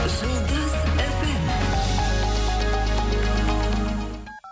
жұлдыз фм